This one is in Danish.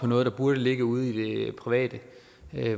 noget der burde ligge ude i det private